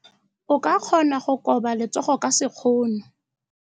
O ka kgona go koba letsogo ka sekgono.